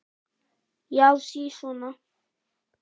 Já, sisona!